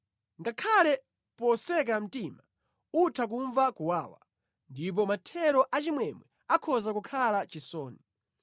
Ngakhale poseka mtima utha kumva kuwawa, ndipo mathero achimwemwe akhoza kukhala chisoni.